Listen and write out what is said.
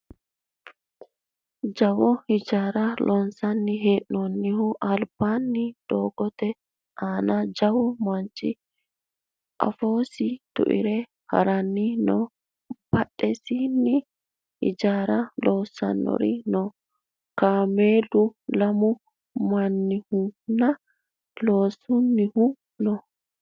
jawa hijaara loonsanni hee'noonnihu albaanni doogote aana jawu manchi afoosi tuire haranni no badhesiinni hijaara loossannori no kameeluno lamu minihunna loosunnihu no